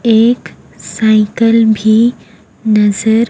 एक साइकल भी नजर--